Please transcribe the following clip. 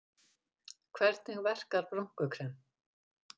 Hvernig verkar brúnkukrem?